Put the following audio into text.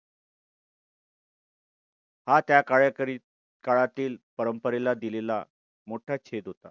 हा त्या काळ्याकरी काळातील परंपरेला दिलेला मोठा छेद होता.